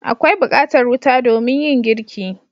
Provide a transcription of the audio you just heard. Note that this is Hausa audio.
Akwai bukatar wuta domin yin girki.